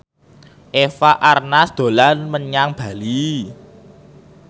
Eva Arnaz dolan menyang Bali